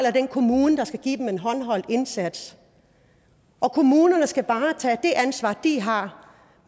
af den kommune der skal give dem en håndholdt indsats kommunerne skal bare tage det ansvar de har